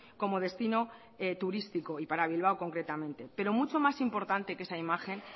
como destino turístico y para bilbao concretamente pero mucho más importante que esa imagen